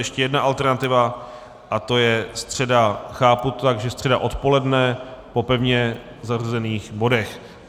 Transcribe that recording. Ještě jedna alternativa, a to je středa - chápu to tak, že středa odpoledne po pevně zařazených bodech.